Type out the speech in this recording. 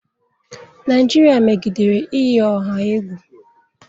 Naijiria megidere iyi ọha egwu